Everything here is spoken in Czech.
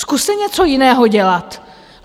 Zkuste něco jiného dělat.